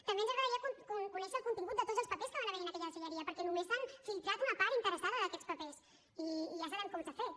també ens agradaria conèixer el contingut de tots els papers que van haver hi en aquella deixalleria perquè només s’ha filtrat una part interessada d’aquests papers i ja sabem com s’ha fet